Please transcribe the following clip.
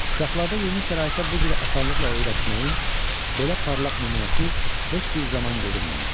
Uşaqlarda yeni şəraitə bu cür asanlıqla öyrəşməyin belə parlaq nümunəsi heç bir zaman görünməmişdi.